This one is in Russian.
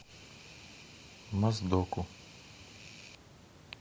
моздоку